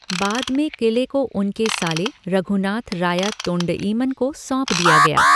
बाद में क़िले को उनके साले रघुनाथ राया तोंडईमन को सौंप दिया गया।